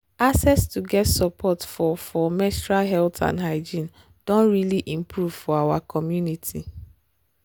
access to get support for for menstrual health and hygiene doh really improve for our community